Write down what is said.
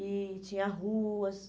E tinha ruas.